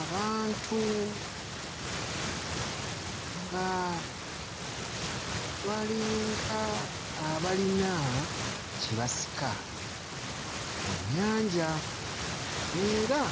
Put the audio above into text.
Abantu nga balinga abalina kye basika mu nnyanja era